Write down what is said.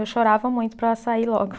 Eu chorava muito para sair logo.